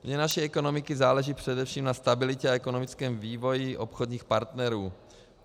Vně naší ekonomiky záleží především na stabilitě a ekonomickém vývoji obchodních partnerů.